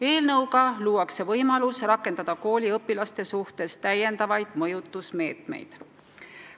Eelnõuga sooviti luua võimalus rakendada kooliõpilaste suhtes täiendavaid mõjutusmeetmeid.